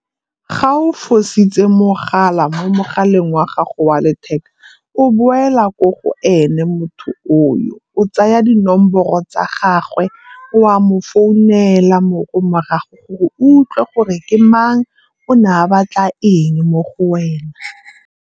Ga o fositse mogala mo mogaleng wa gago wa letheka o boela ko go ene motho o yo. O tsaya dinomoro tsa gagwe o a mo founela morago gore o utlwe gore ke mang, o ne a batla eng mo go wena.